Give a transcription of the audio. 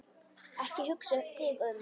Ekki hugsa þig um.